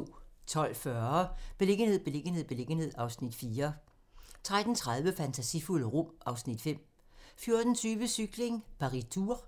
12:40: Beliggenhed, beliggenhed, beliggenhed (Afs. 4) 13:30: Fantasifulde rum (Afs. 5) 14:20: Cykling: Paris-Tours